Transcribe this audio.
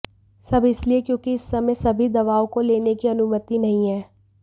सब इसलिए क्योंकि इस समय सभी दवाओं को लेने की अनुमति नहीं है